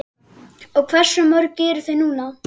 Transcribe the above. Og hversu mörg eru þau nú?